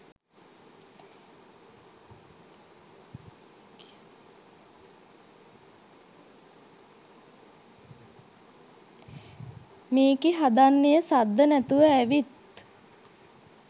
මේකි හදන්නේ සද්ද නැතුව ඇවිත්